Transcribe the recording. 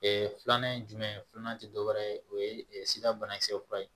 filanan ye jumɛn ye filanan tɛ dɔwɛrɛ ye o ye sira banakisɛ fura ye